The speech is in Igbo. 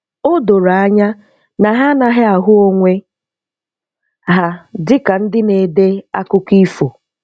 O doro anya na ha anaghị ahụ onwe ha dịka ndị na-ede akụkọ ifo.